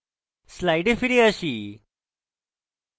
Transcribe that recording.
slides ফিরে আসি